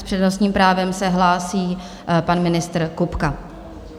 S přednostním právem se hlásí pan ministr Kupka.